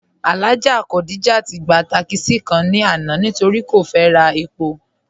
Alhaja Khadijat gba tákísí kàn ni àná nítorí́ kò fẹ́ rà èpò.